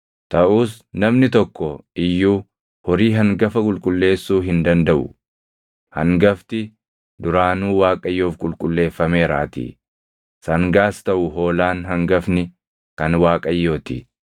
“ ‘Taʼus namni tokko iyyuu horii hangafa qulqulleessuu hin dandaʼu; hangafti duraanuu Waaqayyoof qulqulleeffameeraatii; sangaas taʼu hoolaan hangafni kan Waaqayyoo ti.